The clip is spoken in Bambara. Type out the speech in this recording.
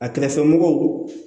A kɛrɛfɛmɔgɔw